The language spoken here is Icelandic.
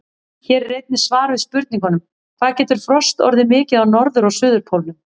Hér er einnig svar við spurningunum: Hvað getur frost orðið mikið á norður- og suðurpólnum?